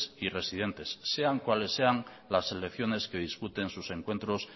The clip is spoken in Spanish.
y residentes sean cuales sean las selecciones que disputen sus encuentros